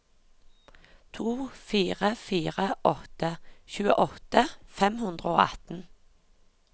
to fire fire åtte tjueåtte fem hundre og atten